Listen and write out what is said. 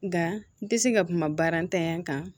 Nka n tɛ se ka kuma baara ntanya kan